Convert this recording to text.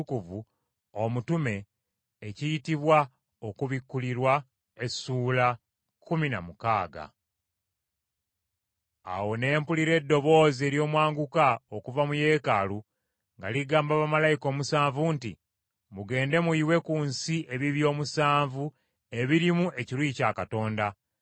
Awo ne mpulira eddoboozi ery’omwanguka okuva mu Yeekaalu nga ligamba bamalayika omusanvu nti, “Mugende muyiwe ku nsi ebibya omusanvu ebirimu ekiruyi kya Katonda.”